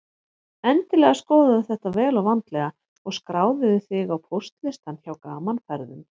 Endilega skoðaðu þetta vel og vandlega og skráðu þig á póstlistann hjá Gaman Ferðum.